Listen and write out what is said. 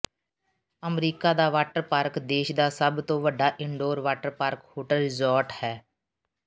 America ਦਾ water park ਦੇਸ਼ ਦਾ ਸਭ ਤੋਂ ਵੱਡਾ indoor water park hotel resort ਹੈ